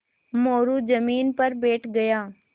मोरू ज़मीन पर बैठ गया